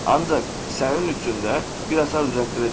Ancaq sənin üçün də bir açar düzəltdirəcəm.